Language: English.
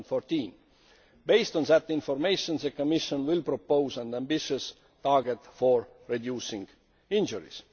2014. Based on this information the Commission will propose an ambitious target for reducing injuries.